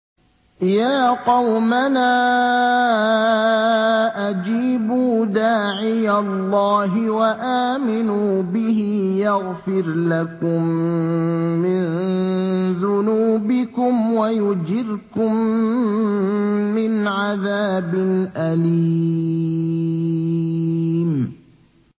يَا قَوْمَنَا أَجِيبُوا دَاعِيَ اللَّهِ وَآمِنُوا بِهِ يَغْفِرْ لَكُم مِّن ذُنُوبِكُمْ وَيُجِرْكُم مِّنْ عَذَابٍ أَلِيمٍ